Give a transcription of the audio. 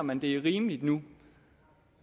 man det er rimeligt nu